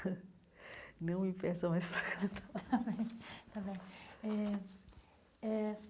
Não me peçam mais para cantar. Está bem está bem eh eh.